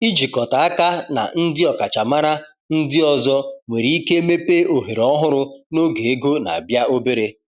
Ịjikọta aka na ndị ọkachamara ndị ọzọ nwere ike mepee ohere ọhụrụ n’oge ego na-abịa obere.